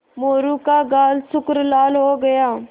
मोरू का गाल सुर्ख लाल हो गया